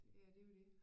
Ja det er jo det